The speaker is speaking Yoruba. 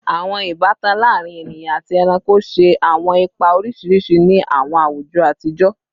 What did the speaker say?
Awọn ibatan laarin eniyan ati ẹranko ṣe awọn ipa oriṣiriṣi ni awọn awujọ atijọ